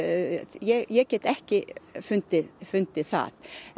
ég get ekki fundið fundið það en